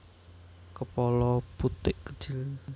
Kepala putik kecil